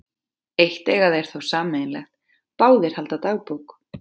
Eitt eiga þeir þó sameiginlegt- báðir halda dagbók.